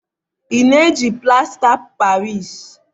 ị na-eji plasta paris?